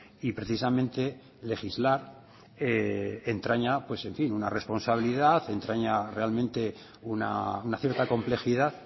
y precisamente legislar entraña una responsabilidad entraña realmente una cierta complejidad